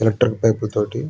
electrical pipe ల తోటి--